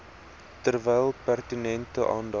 terwyl pertinente aandag